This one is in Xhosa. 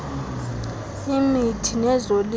imithi nezilimo crops